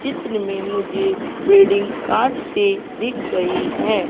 चित्र में मुझे बिल्डिंग कांच सी दिख रही है।